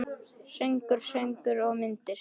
Söngur, sögur og myndir.